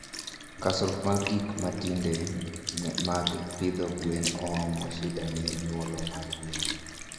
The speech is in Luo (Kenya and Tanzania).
Kosruok mag gigk matinde mag pidho gwen omo shida ne nyulo mar gwen